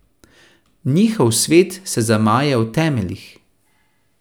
Njihov svet se zamaje v temeljih.